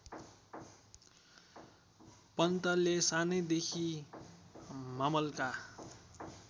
पन्तले सानैदेखि मामलका